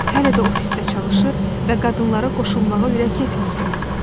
Hələ də ofisdə çalışır və qadınlara qoşulmağa ürək etmirdi.